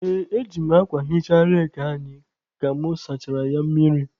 Ee, eji m akwa hichaa reki anyị ka mụ sachara ya mmiri.